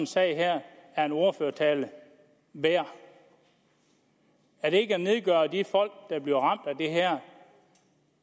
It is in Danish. sag her er en ordførertale værd er det ikke at nedgøre de folk der bliver ramt